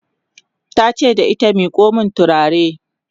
tace da ita " miƙo min turare!"